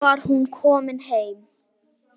Og nú var hún komin heim.